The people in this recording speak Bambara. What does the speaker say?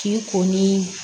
K'i ko ni